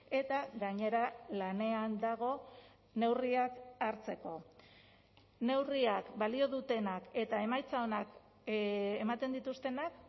eta gainera lanean dago neurriak hartzeko neurriak balio dutenak eta emaitza onak ematen dituztenak